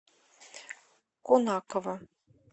конаково